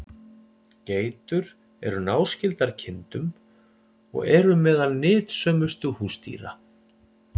Geitur eru náskyldar kindum og eru meðal nytsömustu húsdýra.